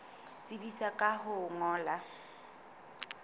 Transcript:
tsebisa ka ho o ngolla